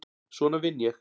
Svona vinn ég.